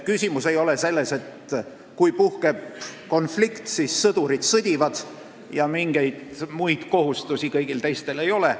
Ei ole nii, et kui puhkeb konflikt, siis sõdurid sõdivad ja teistel mingeid kohustusi ei ole.